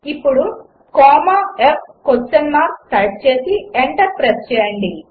ఇప్పుడు comma f question mark type చేసి enter hit చేయండి